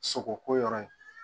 Sogo ko yɔrɔ ye